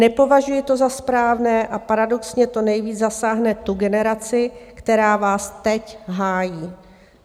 Nepovažuji to za správné a paradoxně to nejvíc zasáhne tu generaci, která vás teď hájí.